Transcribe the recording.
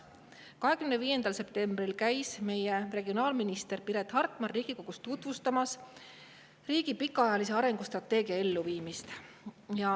25. septembril käis minister Piret Hartman Riigikogus tutvustamas riigi pikaajalise arengustrateegia elluviimist.